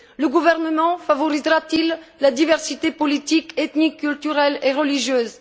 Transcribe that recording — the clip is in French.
Le gouvernement favorisera t il la diversité politique ethnique, culturelle et religieuse?